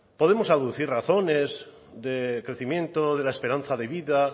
podemos aducir razones de crecimiento de la esperanza de vida